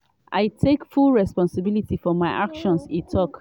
i take full responsibility for my actions" e tok.